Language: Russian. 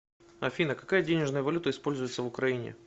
афина какая денежная валюта используется в украине